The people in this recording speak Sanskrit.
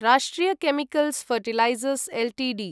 राष्ट्रिय केमिकल्स् फर्टिलाइजर्स् एल्टीडी